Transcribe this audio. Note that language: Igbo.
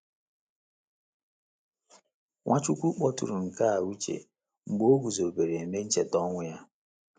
Nwachukwu kpọtụrụ nke a uche mgbe o guzobere Ememe Ncheta ọnwụ ya.